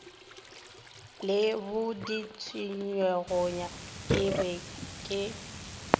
le boditšegoyona ke be ke